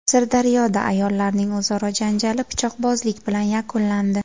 Sirdaryoda ayollarning o‘zaro janjali pichoqbozlik bilan yakunlandi.